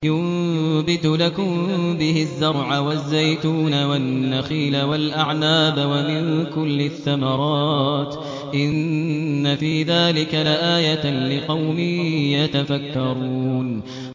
يُنبِتُ لَكُم بِهِ الزَّرْعَ وَالزَّيْتُونَ وَالنَّخِيلَ وَالْأَعْنَابَ وَمِن كُلِّ الثَّمَرَاتِ ۗ إِنَّ فِي ذَٰلِكَ لَآيَةً لِّقَوْمٍ يَتَفَكَّرُونَ